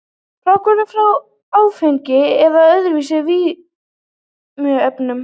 Fráhvarf frá áfengi eða öðrum vímuefnum.